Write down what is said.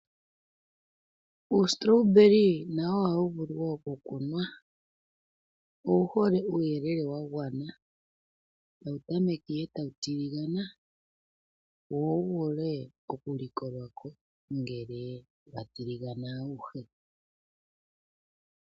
Uustrawberry nawo ohawu vulu wo oku kunwa. Owuhole uuyelele wa gwana, tawu tameka ihe tawu tiligana, wo wuvule oku likolwa ko ngele wa tiligana awuhe.